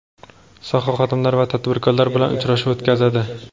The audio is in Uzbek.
soha xodimlari va tadbirkorlar bilan uchrashuv o‘tkazadi.